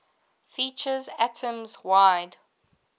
features atoms wide